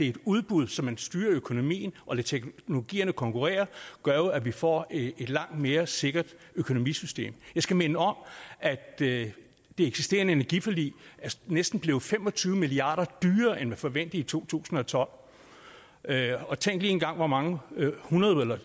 et udbud så man styrer økonomien og lader teknologierne konkurrere gør jo at vi får et langt mere sikkert økonomisystem jeg skal minde om at det eksisterende energiforlig næsten blev fem og tyve milliard kroner dyrere end forventet i to tusind og tolv og tænk lige engang hvor mange hundrede eller